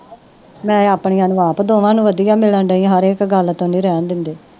ਨਾਲੇ ਆਪਣੀਆਂ ਨੂੰ ਆਪ ਦੋਹਾਂ ਨੂੰ ਵਧੀਆ ਮਿਲਣ ਡੇਈ ਹਰ ਇੱਕ ਗੱਲ ਤੇ ਨਹੀਂ ਰਹਿਣ ਦਿੰਦੇ